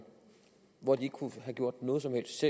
hvor ikke kunne have gjort noget som helst